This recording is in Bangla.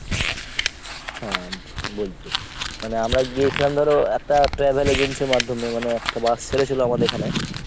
হ্যাঁ বলছি। মানে আমরা গিয়েছিলাম ধর একটা travel agency র মাধ্যমে মানে একটা bus ছেড়েছিল আমাদের এখানে।